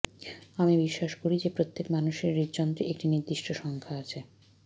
আমি বিশ্বাস করি যে প্রত্যেক মানুষের হৃদযন্ত্রের একটি নির্দিষ্ট সংখ্যা আছে